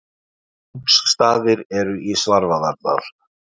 Kóngsstaðir eru í Svarfaðardal.